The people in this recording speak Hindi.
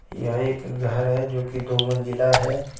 यह एक घर हे जो की दो मंजिला हे.